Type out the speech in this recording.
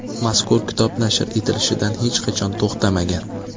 Mazkur kitob nashr etilishdan hech qachon to‘xtamagan.